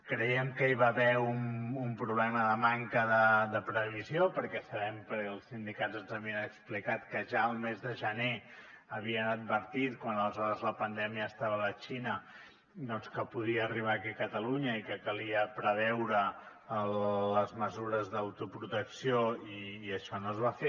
creiem que hi va haver un problema de manca de previsió perquè sabem perquè els sindicats ens ho havien explicat que ja al mes de gener havien advertit quan aleshores la pandèmia estava a la xina doncs que podia arribar aquí a catalunya i que calia preveure les mesures d’autoprotecció i això no es va fer